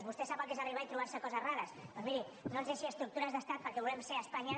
vostè sap el que és arribar i trobar se coses rares doncs miri no ens deixi estructures d’estat perquè volem ser espanya